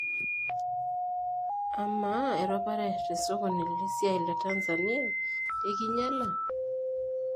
Ama ,eropare tesokoni lesiai te Tanzania ikinyala?